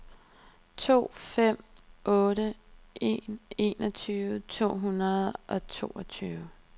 to fem otte en enogtyve to hundrede og toogtyve